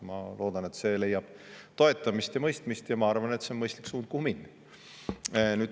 Ma loodan, et see leiab toetamist ja mõistmist, ja ma arvan, et see on mõistlik suund, kuhu minna.